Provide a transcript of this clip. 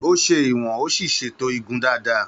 Ó ṣe ìwọ̀n ó sì ṣètò igun dáadáa.